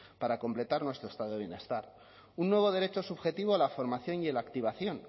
para completar nuestro estado de bienestar un nuevo derecho subjetivo a la formación y a la activación